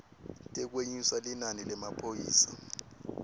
tekwenyusa linani lemaphoyisa